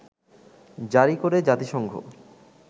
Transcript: জারি করে জাতিসংঘ